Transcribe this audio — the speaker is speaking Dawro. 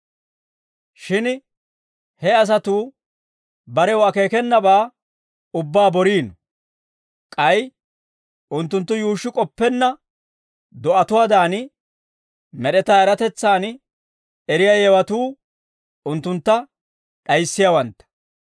Shin he asatuu barew akeekenabaa ubbaa boriino; k'ay unttunttu yuushshi k'oppenna do'atuwaadan, med'etaa eratetsan eriyaa yewatuu unttuntta d'ayissiyaawantta.